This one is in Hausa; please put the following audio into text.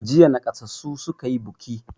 Jiya naƙasassu suka yi buki.